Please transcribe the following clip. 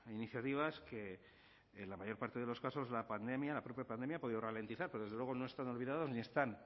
iniciativas que en la mayor parte de los casos la propia pandemia ha podido ralentizar pero desde luego no están olvidados ni están